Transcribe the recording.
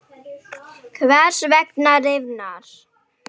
Hvers vegna rifnar?